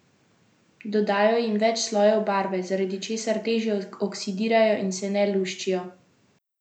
Dodajo jim več slojev barve, zaradi česar težje oksidirajo in se ne luščijo.